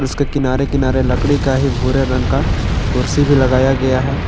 उसके किनारे किनारे लकड़ी का ही भूरे रंग का कुर्सी भी लगाया गया है।